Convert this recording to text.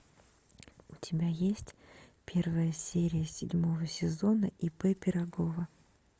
у тебя есть первая серия седьмого сезона ип пирагова